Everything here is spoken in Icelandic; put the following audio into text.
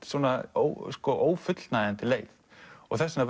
ófullnægjandi leið og þess vegna